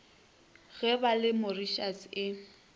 ge ba le mauritius e